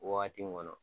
Wagati min kɔnɔ